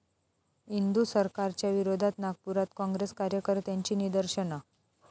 इंदू सरकार'च्या विरोधात नागपुरात काँग्रेस कार्यकर्त्यांची निदर्शनं